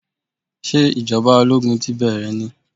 Sé ìjọba ológun ti bẹ́rẹ̀ ni?